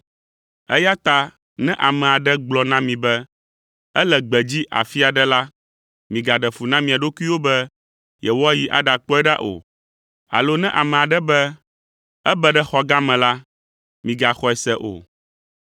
“Eya ta ne ame aɖe gblɔ na mi be, ‘Ele gbedzi afi aɖe la,’ migaɖe fu na mia ɖokuiwo be yewoayi aɖakpɔe ɖa o. Alo ne ame aɖe be, ‘Ebe ɖe xɔ gã me la,’ migaxɔe se o!